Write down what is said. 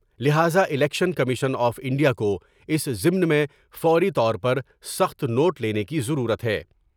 لہذا election commission of India کو اس ضمن میں فوری طور پر سخت نوٹ لینے کی ضرورت ہے ۔